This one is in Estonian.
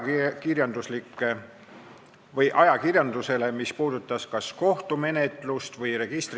Me oleme jõudnud näiteks olukorda, kus on kirjeldatud ka see, millistel juhtudel arstid ja meditsiinitöötajad võivad ennetuse eesmärgil isikuandmeid töödelda.